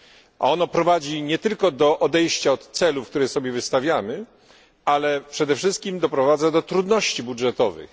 A ono prowadzi nie tylko do odejścia od celów, które sobie stawiamy, ale przede wszystkim doprowadza do trudności budżetowych.